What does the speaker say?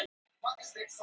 Fagraholti